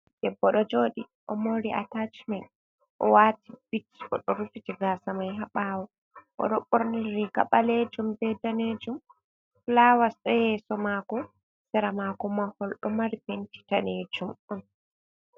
Debbo ɗo joɗi o mori atachmen, o wati bit o do rufiti gasamai haɓawo, o ɗo borni riga balejum ɓe danejum, flawasdo ɗo yeso mako, sera mako mahol ɗo mari benci danejum on.